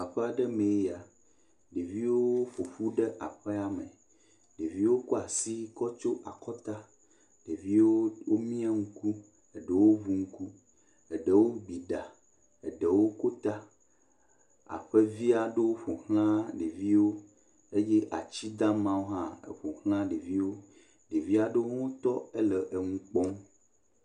Aƒea ɖe mee ya. Ɖeviwo ƒo ƒu ɖe aƒea me. Ɖeviwo kɔ asi kɔ tsɔ akɔta. Ɖeviwo womia ŋku. Eɖewo ʋu ŋku. Eɖewo gbi ɖa. Eɖewo ko ta. Aƒe via ɖewo ƒo xlã ɖeviwo. Eye atsi damawo hã eƒo xlã ɖeviwo. Ɖevia ɖewo hã tɔ hele eŋu kpɔm.